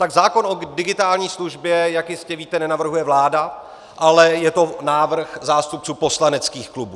Tak zákon o digitální službě, jak jistě víte, nenavrhuje vláda, ale je to návrh zástupců poslaneckých klubů.